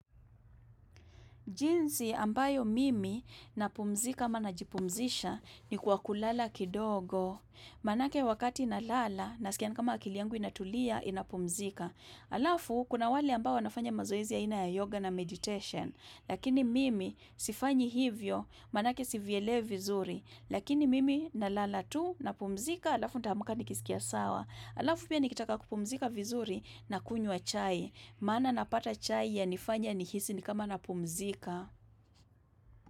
Jinsi ambayo mimi napumzika ama najipumzisha ni kwa kulala kidogo. Manake wakati nalala nasikia nikama akili yangu inatulia inapumzika. Alafu kuna wale ambao wanafanya mazoezi ya ina ya yoga na meditation. Lakini mimi sifanyi hivyo manake sivyelewi vizuri. Lakini mimi nalala tu napumzika alafu nitaamka nikisikia sawa. Alafu pia nikitaka kupumzika vizuri, nakunywa chai. Maana napata chai yanifanya nihisi ni kama napumzika.